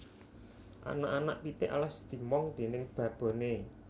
Anak anak pitik alas dimong déning baboné